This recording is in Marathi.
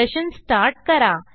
सेशन स्टार्ट करा